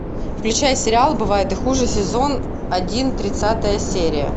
включай сериал бывает и хуже сезон один тридцатая серия